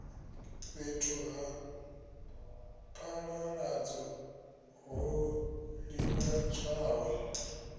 fhethu ha phaḓaladzo ho ḓivhadzwaho